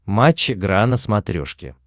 матч игра на смотрешке